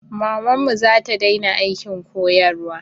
Mamanmu zata daina aikin koyarwa